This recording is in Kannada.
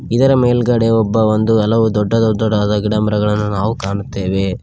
ಇದರ ಮೇಲ್ಗಡೆ ಒಬ್ಬ ಒಂದು ಹಲವು ದೊಡ್ಡ ದೊಡ್ಡದಾದ ಗಿಡಮರಗಳನ್ನು ನಾವು ಕಾಣುತ್ತೇವೆ.